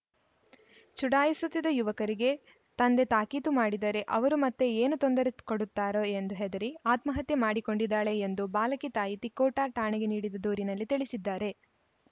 ಚುಡಾಯಿಸುತ್ತಿದ್ದ ಯುವಕರಿಗೆ ತಂದೆ ತಾಕೀತು ಮಾಡಿದರೆ ಅವರು ಮತ್ತೆ ಏನು ತೊಂದರೆ ಕೊಡುತ್ತಾರೋ ಎಂದು ಹೆದರಿ ಆತ್ಮಹತ್ಯೆ ಮಾಡಿಕೊಂಡಿದ್ದಾಳೆ ಎಂದು ಬಾಲಕಿ ತಾಯಿ ತಿಕೋಟಾ ಠಾಣೆಗೆ ನೀಡಿದ ದೂರಿನಲ್ಲಿ ತಿಳಿಸಿದ್ದಾರೆ